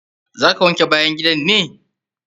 Za ka wanke bayan gidan ne?